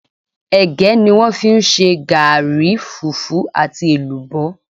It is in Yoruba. Ègé ni wón fi n se gaàri, fùfú àti èlùbó